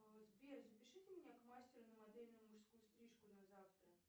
сбер запишите меня к мастеру на модельную мужскую стрижку на завтра